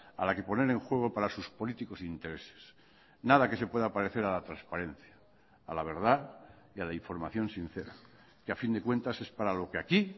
a la que poner en juego para sus políticos intereses nada que se pueda parecer a la transparencia a la verdad y a la información sincera que a fin de cuentas es para lo que aquí